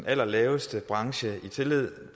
allerlaveste brancher